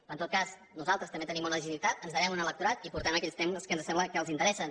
però en tot cas nosaltres també tenim una legitimitat ens devem a un electorat i portem aquells temes que ens sembla que els interessen